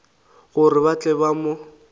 gore ba tle ba mo